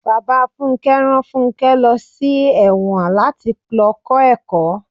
Bàbá Fúnké rán fúnké lọ sí èwòn láti lọ kó ẹ̀kọ́.